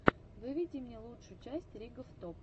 выведи мне лучшую часть ригоф топ